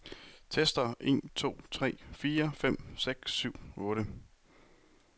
Tester en to tre fire fem seks syv otte.